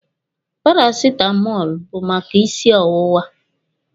Parasitamọlụ bụ maka isi ọwụwa.